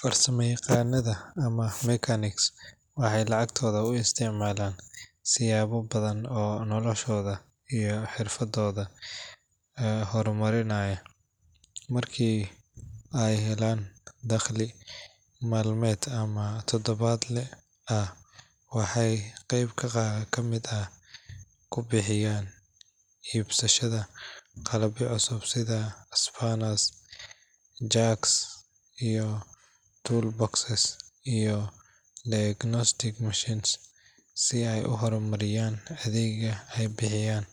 Farsamayaqaannada ama mechanics waxay lacagtooda u isticmaalaan siyaabo badan oo noloshooda iyo xirfadooda horumarinaya. Markii ay helaan dakhli maalmeed ama toddobaadle ah, waxay qayb ka mid ah ku bixiyaan iibsashada qalabyo cusub sida spanners, jacks, toolboxes iyo diagnostic machines si ay u horumariyaan adeegga ay bixiyaan.